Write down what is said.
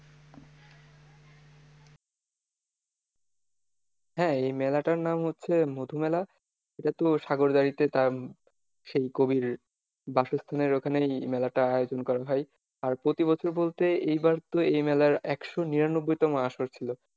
হ্যাঁ এই মেলাটার নাম হচ্ছে মধু মেলা, এটা তো সাগরদারিতে তার সেই কবির বাসস্থানের ওখানেই মেলাটার আয়োজন করা হয়। আর প্রতিবছর বলতে এইবার তো এই মেলার একশো নিরানব্বুইতম আসর ছিল।